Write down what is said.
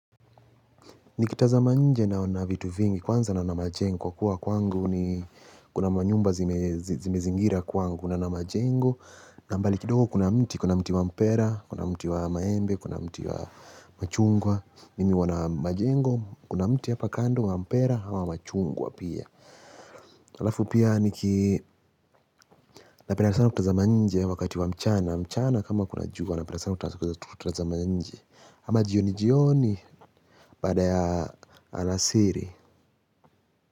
Nikitazama nje naona vitu vingi kwanza naona majengo kuwa kwangu kuna manyumba zimezingira kwangu naona majengo. Na mbali kidogo kuna mti, kuna mti wa mpera, kuna mti wa maembe, kuna mti wa machungwa. Nimeona majengo, kuna mti hapa kando wa mpera ama machungwa pia halafu pia napenda sana kutaza nje wakati wa mchana, mchana kama kuna jua napena sana kutazama nje. Ama jioni jioni baada ya alasiri.